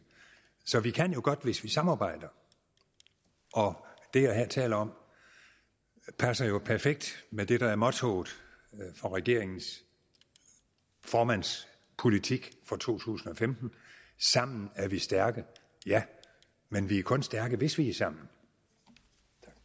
så vi kan jo godt hvis vi samarbejder og det jeg her taler om passer perfekt med det der er mottoet for regeringens formands politik for 2015 sammen er vi stærke ja men vi er kun stærke hvis vi er sammen tak